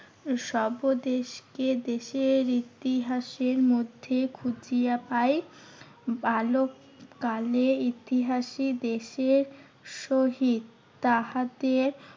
সবদেশকে দেশের ইতিহাসের মধ্যে খুছিয়া পাই। বালককালে ইতিহাসই দেশের সহিত তাহাতে